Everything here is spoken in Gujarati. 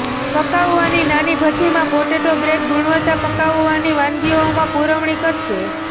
પકાવવાની નાની ભઠ્ઠી માં પોટેટો બ્રેડ ગુણવત્તા પકવવાની વાનગીઓમાં પુરવણી કરશે